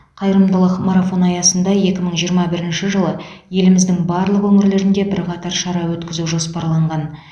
қайырымдылық марафоны аясында екі мың жиырма бірінші жылы еліміздің барлық өңірлерінде бірқатар шара өткізу жоспарланған